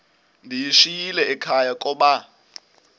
ndiyishiyile ekhaya koba